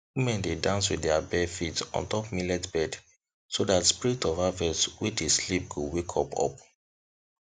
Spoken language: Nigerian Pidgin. women dey dance with their barefeet on top millet bed so that spirit of harvest wey dey sleep go wake up up